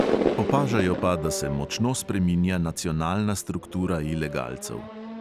Opažajo pa, da se močno spreminja nacionalna struktura ilegalcev.